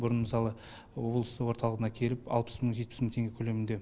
бұрын мысалы облыс орталығына келіп алпыс мың жетпіс мың теңге көлемінде